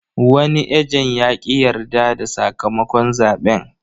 Wani ejen ya ƙi yarda da sakamakon zaɓen.